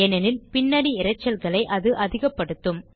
ஏனெனில் பின்னணி இரைச்சல்களை அது அதிகப்படுத்தும்